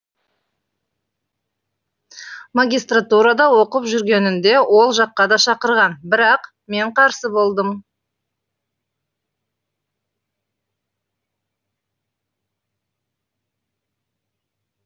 магистратурада оқып жүргенінде ол жаққа да шақырған бірақ мен қарсы болдым